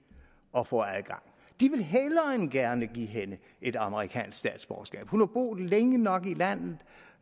at få adgang de vil hellere end gerne give hende et amerikansk statsborgerskab hun har boet længe nok i landet